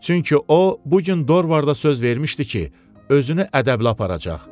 Çünki o, bu gün Dorvarda söz vermişdi ki, özünü ədəblə aparacaq.